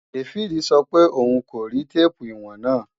Dáfídì sọ pé òun kò rí téèpù ìwọ̀n náà